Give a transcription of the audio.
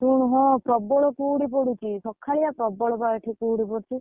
ଶୁଣୁ ହଁ, ପ୍ରବଳ କୁହୁଡି ପଡୁଛି ସକାଳିଆ, ପ୍ରବଳ ବା ଏଠି, କୁହୁଡି ପଡୁଛି।